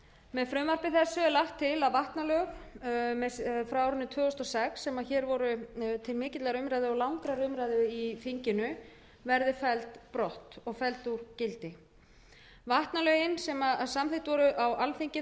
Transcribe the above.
með frumvarpi þessu er lagt til að vatnalög frá árinu tvö þúsund og sex sem hér voru til mikillar umræðu og langrar umræðu í þinginu verði felld brott og felld úr gildi vatnalög sem samþykkt voru á alþingi árið tvö þúsund og